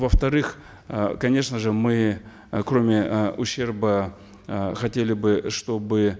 во вторых э конечно же мы э кроме э ущерба э хотели бы чтобы